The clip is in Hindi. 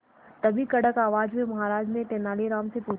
तभी कड़क आवाज में महाराज ने तेनालीराम से पूछा